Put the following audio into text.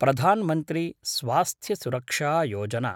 प्रधान् मन्त्री स्वास्थ्य सुरक्षा योजना